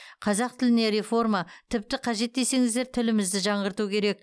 қазақ тіліне реформа тіпті қажет десеңіздер тілімізді жаңғырту керек